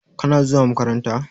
Kana zuwa makaranta?